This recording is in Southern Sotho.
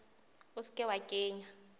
o se ke wa kenya